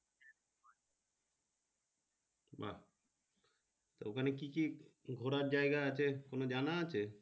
ওখানে কি কি ঘুরা জায়গা আছে তোমার জানা আছে।